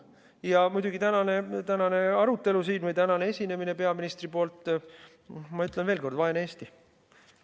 Ja muidugi, tänane arutelu siin või tänane esinemine peaministri poolt – ma ütlen veel kord: vaene Eesti.